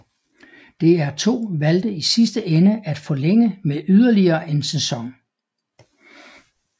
DR2 valgte i sidste ende at forlænge med yderligere en sæson